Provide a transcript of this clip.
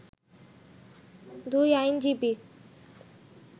দুই আইনজীবী